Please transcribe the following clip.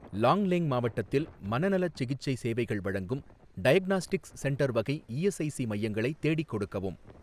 லாங்லேங் மாவட்டத்தில் மனநலச் சிகிச்சை சேவைகள் வழங்கும் டயக்னாஸ்டிக்ஸ் சென்டர் வகை இஎஸ்ஐசி மையங்களை தேடிக் கொடுக்கவும்.